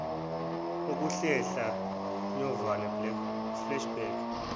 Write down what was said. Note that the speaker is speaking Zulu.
ukuhlehla nyovane flashback